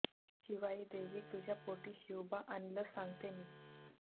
शिवाई देवी तुझ्या पोटी शिवबा आणलं सांगते मी